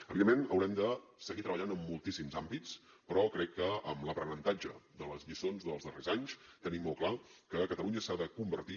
evidentment haurem de seguir treballant en moltíssims àmbits però crec que amb l’aprenentatge de les lliçons dels darrers anys tenim molt clar que catalunya s’ha de convertir